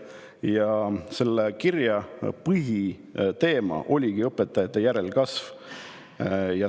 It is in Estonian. Ja selle kirja põhiteema ongi õpetajate järelkasv.